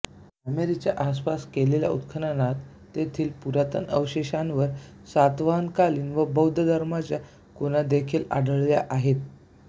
कामेरी च्या आसपास केलेल्या उत्खननात तेथील पुरातन अवशेषांवर सातवाहनकालीन व बौद्ध धर्माच्या खुणादेखील आढळल्या आहेत